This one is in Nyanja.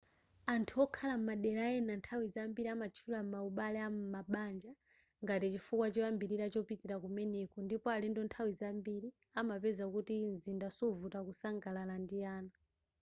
anthu okhala madela ena nthawi zambiri amatchula ma ubale am'mabanja ngati chifukwa choyambilira chopitila kumeneko ndipo alendo nthawi zambiri amapeza kuti mzinda suvuta kusangalala ndi ana